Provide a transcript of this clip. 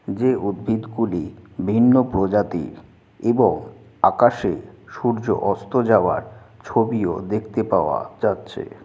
যে উদ্ভিদ গুলি ভিন্ন প্রজাতির এবং আকাশে সূর্য অস্ত যাওয়ার ছবিও দেখতে পাওয়া যাচ্ছে।